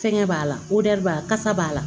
Fɛngɛ b'a la b'a kasa b'a la